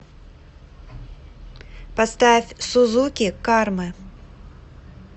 поставь сузуки кармы